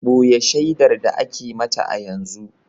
Boye shaidar da ake mata a yanzu